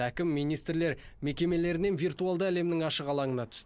әкім мен министрлер мекемелерінен виртуалды әлемнің ашық алаңына түсті